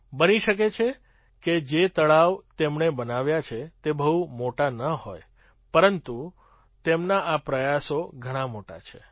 બની શકે કે જે તળાવ તેમણે બનાવ્યાં તે બહુ મોટાં ન હોય પરંતુ તેમના આ પ્રયાસો ઘણા મોટા છે